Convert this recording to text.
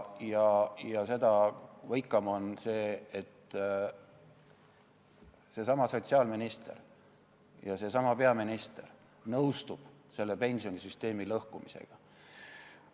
Seda võikam on see, et seesama sotsiaalminister ja seesama peaminister nõustuvad selle pensionisüsteemi lõhkumisega.